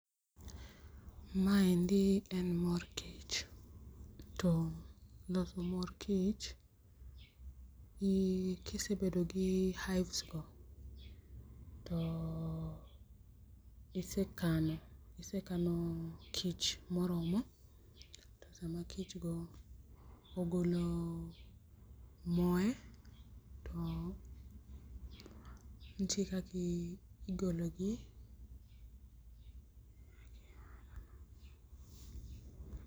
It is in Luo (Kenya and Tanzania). Maendi en mor kich. To loso mor kich ka ise bedo gi hives go to isekano kich moromo to sama kichgo ogolo moe to nitie kaka igolo-gi.